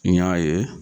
N y'a ye